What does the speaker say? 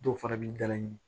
Dɔw fana b'i dalaɲini